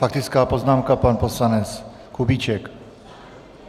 Faktická poznámka, pan poslanec Kubíček.